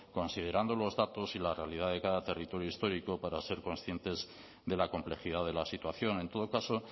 considerando los datos y la realidad de cada territorio histórico para ser conscientes de la complejidad de la situación en todo caso